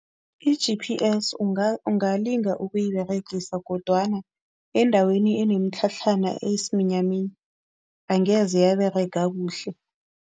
I-G_P_S ungalinga ukuyiberegisa kodwana endaweni enemitlhatlhana, eyisiminyaminya angeze yaberega kuhle.